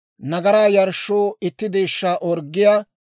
nagaraa yarshshoo itti deeshshaa orggiyaa;